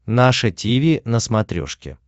наше тиви на смотрешке